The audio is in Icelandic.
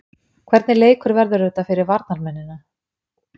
Hvernig leikur verður þetta fyrir varnarmennina?